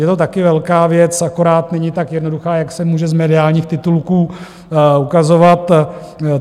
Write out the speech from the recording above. Je to také velká věc, akorát není tak jednoduchá, jak se může z mediálních titulků ukazovat.